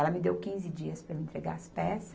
Ela me deu quinze dias para eu entregar as peças.